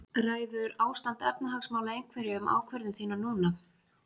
Ræður ástand efnahagsmála einhverju um ákvörðun þína núna?